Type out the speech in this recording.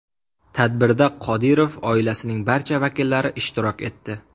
Tadbirda Qodirov oilasining barcha vakillari ishtirok etdi.